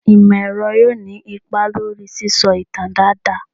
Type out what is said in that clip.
Imọ-ẹrọ yoo ni ipa lori sisọ itan daadaa